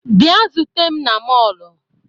Bịa zute m na mọọlụ!